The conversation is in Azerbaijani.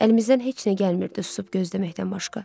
Əlimizdən heç nə gəlmirdi, susub gözləməkdən başqa.